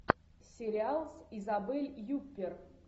сериал с изабель юппер